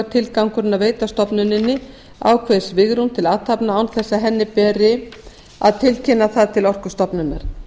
er tilgangurinn að veita stofnuninni ákveðið svigrúm til athafna án þess að henni beri að tilkynna um það til orkustofnunar